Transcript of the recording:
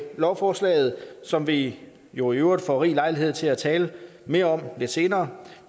lovforslaget som vi jo i øvrigt får rig lejlighed til at tale mere om lidt senere